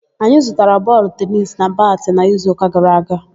Anyị zụtara bọọlụ tenisi na batị n'izuụka gara aga